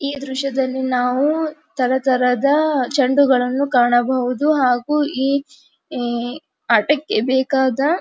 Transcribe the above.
ಈ ದೃಶ್ಯದಲ್ಲಿ ನಾವು ತರತರದ ಚೆಂಡುಗಳನ್ನು ಕಾಣಬಹುದು ಹಾಗು ಈ ಆಟಕ್ಕೆ ಬೇಕಾದ --